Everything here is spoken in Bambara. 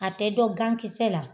A tɛ dɔn gankisɛ la.